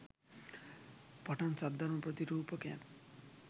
පටන් සද්ධර්ම ප්‍රතිරූපකයන්